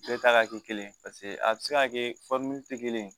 Bɛɛ ta ka kɛ kelen ye paseke a bɛ se ka kɛ tɛ kelen ye